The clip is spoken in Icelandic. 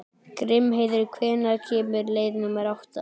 Grímheiður, hvenær kemur leið númer átta?